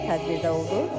Tədbirdə oldu.